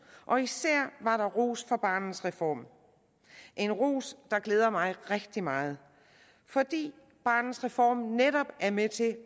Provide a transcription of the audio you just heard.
og især var der ros for barnets reform en ros der glæder mig rigtig meget fordi barnets reform netop er med til